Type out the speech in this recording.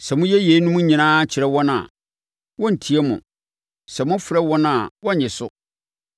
“Sɛ moka yeinom nyinaa kyerɛ wɔn a, wɔrentie mo; sɛ mofrɛ wɔn a wɔrennye so.